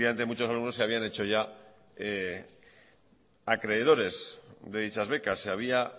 efectivamente muchos alumnos se habían hecho ya acreedores de dichas becas se había